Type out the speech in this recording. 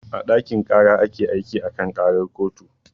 A ɗakin ƙara ake aiki a kan ƙarar kotu